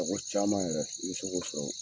Mɔgɔ caaman yɛrɛ, i be k'o sɔrɔ.